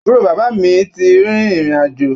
Àbúrò bàbá mi ti rin ìrìn àjò.